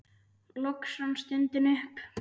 Loks rann stundin upp.